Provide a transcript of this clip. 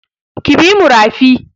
Ki bi mu rafi!